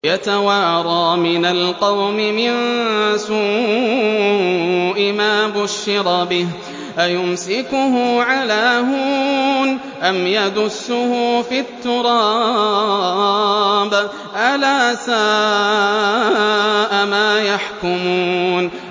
يَتَوَارَىٰ مِنَ الْقَوْمِ مِن سُوءِ مَا بُشِّرَ بِهِ ۚ أَيُمْسِكُهُ عَلَىٰ هُونٍ أَمْ يَدُسُّهُ فِي التُّرَابِ ۗ أَلَا سَاءَ مَا يَحْكُمُونَ